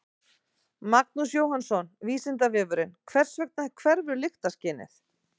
Magnús Jóhannsson: Vísindavefurinn: Hvers vegna hverfur lyktarskynið?